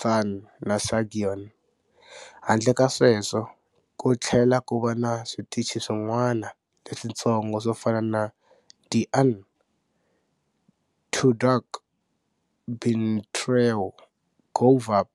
Than na Saigon. Handle ka sweswo, kutlhela kuva na switichi swin'wana leswintsongo swofana na Di An, Thu Duc, Binh Trieu, Go Vap.